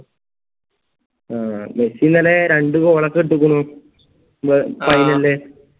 ആ മെസ്സി ഇന്നലെ രണ്ട് goal ഒക്കെ ഇടക്കണു finale ല്